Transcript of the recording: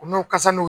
U n'u kasa n'o